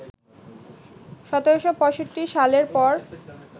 ১৭৬৫ সালের পর